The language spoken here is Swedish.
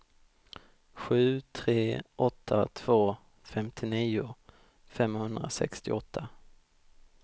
sju tre åtta två femtionio femhundrasextioåtta